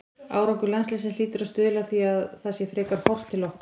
Árangur landsliðsins hlýtur að stuðla að því að það sé frekar horft til okkar.